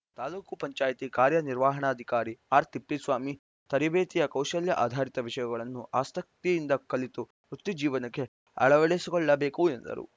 ತಾಪಂ ಕಾರ್ಯನಿರ್ವಹಣಾಧಿಕಾರಿ ಆರ್‌ ತಿಪ್ಪೇಸ್ವಾಮಿ ತರಬೇತಿಯ ಕೌಶಲ್ಯ ಆಧರಿತ ವಿಷಯಗಳನ್ನು ಆಸಕ್ತಿಯಿಂದ ಕಲಿತು ವೃತ್ತಿ ಜೀವನಕ್ಕೆ ಅಳವಡಿಸಿಕೊಳ್ಳಬೇಕು ಎಂದರು